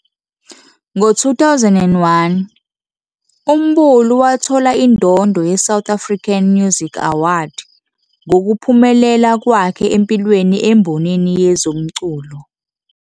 Ngo-2001, uMbulu wathola indondo yeSouth African Music Award ngokuphumelela kwakhe empilweni embonini yezomculo.